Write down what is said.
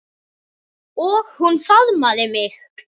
Og hún faðmaði mig.